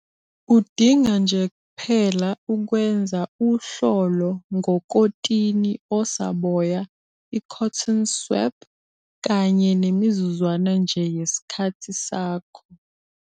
Udinga nje kuphela ukwenza uhlolo ngokotini osaboya i-cotton swap kanye nemizuzwana nje yesikhathi sakho.